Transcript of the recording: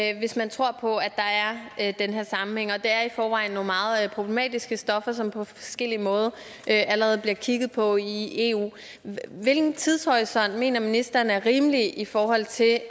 er hvis man tror på at der er den her sammenhæng det er i forvejen nogle meget problematiske stoffer som der på forskellig måde allerede bliver kigget på i eu hvilken tidshorisont mener ministeren er rimelig i forhold til at